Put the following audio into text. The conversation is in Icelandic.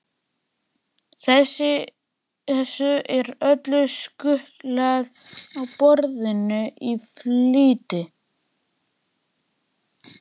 Þessu er öllu skutlað á borðið í flýti.